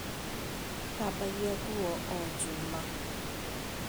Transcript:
Thambagia nguo o Juma